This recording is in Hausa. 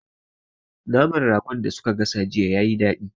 Naman Ragon da su ka gasa jiya yayi dadi